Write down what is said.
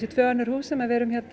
tvö önnur hús sem við erum